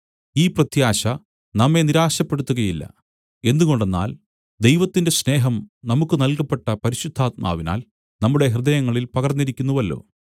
ഈ പ്രത്യാശ നമ്മെ നിരാശപ്പെടുത്തുകയില്ല എന്തുകൊണ്ടെന്നാൽ ദൈവത്തിന്റെ സ്നേഹം നമുക്കു നല്കപ്പെട്ട പരിശുദ്ധാത്മാവിനാൽ നമ്മുടെ ഹൃദയങ്ങളിൽ പകർന്നിരിക്കുന്നുവല്ലോ